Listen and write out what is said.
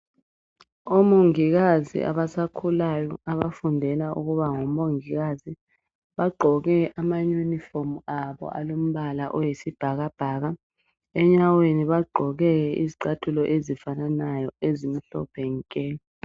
Omongokazi abasakhulayo abafundela ukuba ngomongikazi bagqoke amayunifomu abo alombala oyisibhakabhaka enyaweni bagqoke izicathulo ezifananayo ezimhlophe nke.